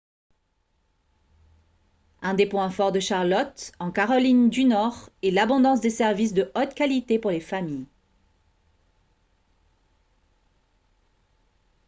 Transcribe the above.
un des points forts de charlotte en caroline du nord est l'abondance des services de haute qualité pour les familles